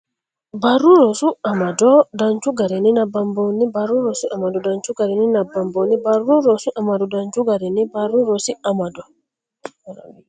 Barru Rosi Amado Danchu garinni nabbabbinoonni Barru Rosi Amado Danchu garinni nabbabbinoonni Barru Rosi Amado Danchu garinni Barru Rosi Amado.